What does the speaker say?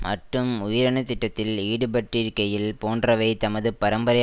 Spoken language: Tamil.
மட்டும் உயிரணுத்திட்டத்தில் ஈடுபட்டிருக்கையில் போன்றவை தமது பரம்பரை